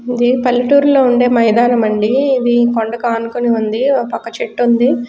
ఇది పల్లెటూర్ లో వుండే మైదానం అండి ఇది కొండకానుకొని ఉంది ఒపక్క చెట్టు వుంది --